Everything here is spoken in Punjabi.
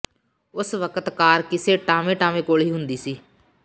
ਉਸ ਵਕਤ ਕਾਰ ਕਿਸੇ ਟਾਵੇਂ ਟਾਵੇਂ ਕੋਲ ਹੁੰਦੀ ਸੀ